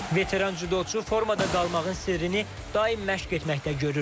Veteran cüdoçu formada qalmağın sirrini daim məşq etməkdə görür.